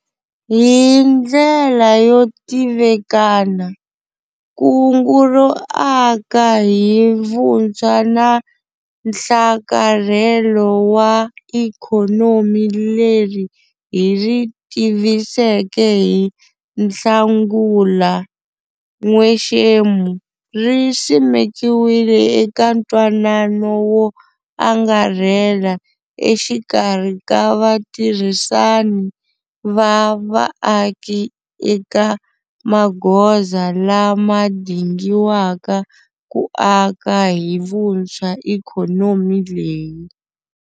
Hi ndlela yo tivikana, Kungu ro Aka hi Vuntshwa na Nhlakarhelo wa Ikhonomi leri hi ri tiviseke hi Nhlangula n'wexemu ri simekiwile eka ntwanano wo angarhela exikarhi ka vatirhisani va vaaki eka magoza lama dingiwaka ku aka hi vuntswha ikhonomi leyi.